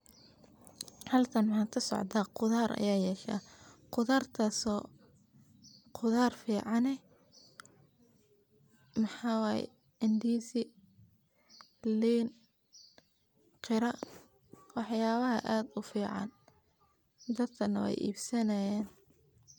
sidoo kale waa muhiim in ganacsatada badarka ay yeeshaan aqoon ku saabsan baahida suuqyada dibadda taas oo ka caawin karta inay beegsadaan dalal gaar ah oo raadinaya noocyada badarka ee kenya kasoo saarto sida galleyda, sarreenka, iyo masagada intaas waxaa dheer ganacsiyadaas waa in ay helaan xiriir toos ah oo ay la yeeshaan